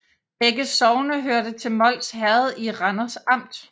Begge sogne hørte til Mols Herred i Randers Amt